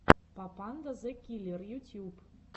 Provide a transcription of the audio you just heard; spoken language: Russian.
папанда зэ киллер ютьюб